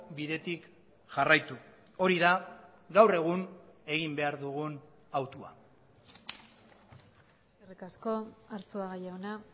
bidetik jarraitu hori da gaur egun egin behar dugun autua eskerrik asko arzuaga jauna